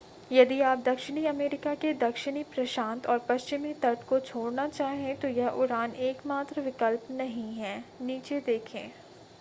यदि आप दक्षिणी अमरीका के दक्षिणी प्रशांत और पश्चिमी तट को छोड़ना चाहें तो यह उड़ान एकमात्र विकल्प नहीं है. नीचे देखें